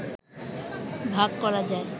ভাগ করা যায়